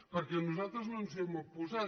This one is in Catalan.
perquè nosal·tres no ens hi hem oposat